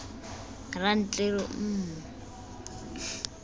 rantleru m m m m